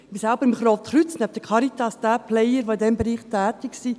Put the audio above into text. Ich bin selbst beim Roten Kreuz, neben der Caritas in diesem Bereich tätigen Player.